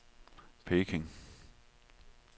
Peking